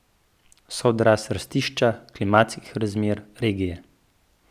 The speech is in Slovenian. So odraz rastišča, klimatskih razmer, regije...